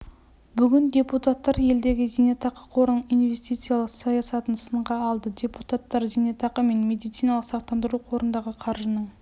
бүгін депутаттар елдегі зейнетақы қорының инвестициялық саясатын сынға алды депутаттар зейнетақы мен медициналық сақтандыру қорындағы қаржының